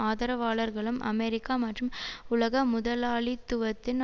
ஆதரவாளர்களும் அமெரிக்கா மற்றும் உலக முதலாளித்துவத்தின்